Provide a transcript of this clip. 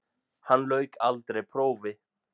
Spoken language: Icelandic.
Hann lauk aldrei prófi.